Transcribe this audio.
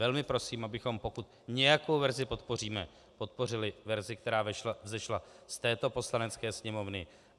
Velmi prosím, abychom pokud nějakou verzi podpoříme, podpořili verzi, která vzešla z této Poslanecké sněmovny.